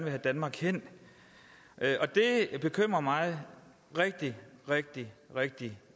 have danmark hen og det bekymrer mig rigtig rigtig rigtig